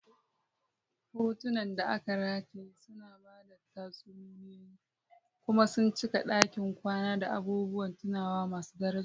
Hotunan da aka rataye suna ba da tatsuniyoyi kuma sun cika ɗakin kwana da abubuwan tunawa masu daraja.